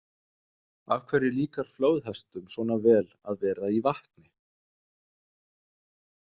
Af hverju líkar flóðhestum svona vel að vera í vatni?